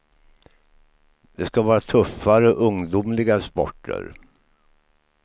Det skall vara tuffare, ungdomligare sporter.